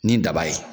Ni daba ye